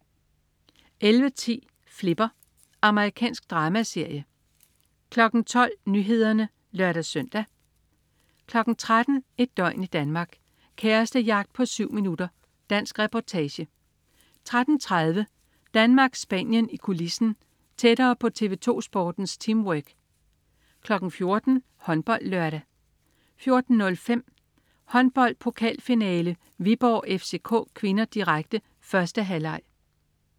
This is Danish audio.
11.10 Flipper. Amerikansk dramaserie 12.00 Nyhederne (lør-søn) 13.00 Et døgn i Danmark: Kærestejagt på 7 min. Dansk reportage 13.30 Danmark-Spanien i kulissen. Tættere på TV2 Sportens teamwork 14.00 HåndboldLørdag 14.05 Håndbold: Pokalfinale, Viborg-FCK (k), direkte. 1. halvleg